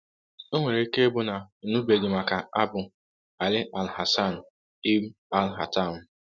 O nwere ike ịbụ na ị nụbeghị maka Abū ‘Alī al-Hasan ibn al-Haytham.